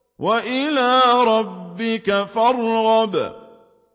وَإِلَىٰ رَبِّكَ فَارْغَب